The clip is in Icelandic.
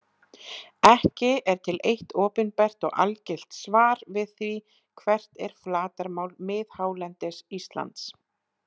Ekki er til eitt opinbert og algilt svar við því hvert er flatarmál miðhálendis Íslands.